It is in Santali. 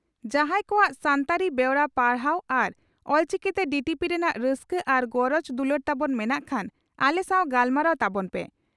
ᱡᱟᱦᱟᱸᱭ ᱠᱚᱣᱟᱜ ᱥᱟᱱᱛᱟᱲᱤ ᱵᱮᱣᱨᱟ ᱯᱟᱲᱦᱟᱣ ᱟᱨ ᱚᱞᱪᱤᱠᱤᱛᱮ ᱰᱤᱴᱤᱯᱤ ᱨᱮᱱᱟᱜ ᱨᱟᱹᱥᱠᱟᱹ ᱟᱨ ᱜᱚᱨᱚᱡᱽ ᱫᱩᱞᱟᱹᱲ ᱛᱟᱵᱚᱱ ᱢᱮᱱᱟᱜ ᱠᱷᱟᱱ ᱟᱞᱮ ᱥᱟᱣ ᱜᱟᱞᱢᱟᱨᱟᱣ ᱛᱟᱵᱚᱱ ᱯᱮ ᱾